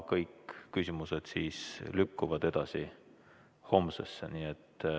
Kõik küsimused lükkuvad edasi homsesse.